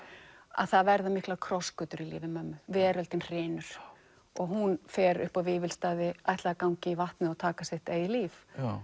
að það verða miklar krossgötur í lífi mömmu veröldin hrynur og hún fer upp á Vífilsstaði ætlaði að ganga í vatnið og taka sitt eigið líf